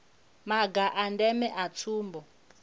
maga a ndeme a tsumbo